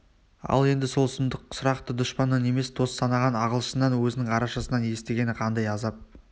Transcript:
ал енді сол сұмдық сұрақты дұшпаннан емес дос санаған ағылшыннан өзінің арашашысынан естігені қандай азап